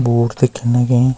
बोट दिखेंण लगीं।